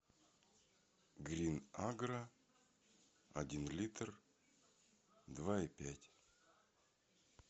грин агро один литр два и пять